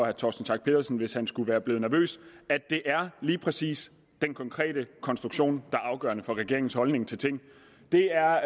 herre torsten schack pedersen hvis han skulle være blevet nervøs at det er lige præcis den konkrete konstruktion der er afgørende for regeringens holdning til tingene det er